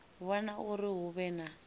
vhona uri hu vhe na